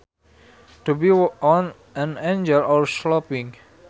To be on an angle or sloping